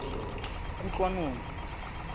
kutlwanong